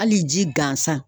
Hali ji gansan